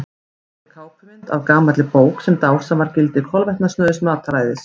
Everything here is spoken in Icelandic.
Hér er kápumynd af gamalli bók sem dásamar gildi kolvetnasnauðs mataræðis.